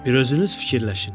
Bir özünüz fikirləşin.